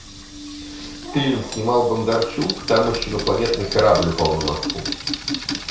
фильм снимал бондарчук там еще инопланетный корабль упал на москву